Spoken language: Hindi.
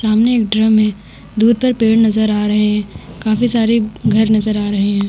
सामने एक ड्रम है दूर पर पेड़ नजर आ रहे है काफी सारे घर नजर आ रहे है ।